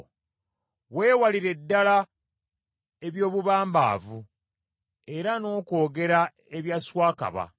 Weewalire ddala eby’obubambavu era n’okwogera ebya swakaba.